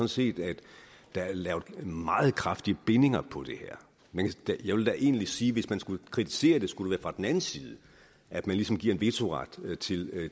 set at der er lavet meget kraftige bindinger på det her jeg vil da egentlig sige at hvis man skulle kritisere det skulle det være fra den anden side at man ligesom giver en vetoret til